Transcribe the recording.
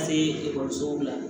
ekɔlisow la